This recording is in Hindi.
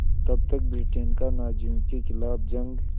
तब तक ब्रिटेन का नाज़ियों के ख़िलाफ़ जंग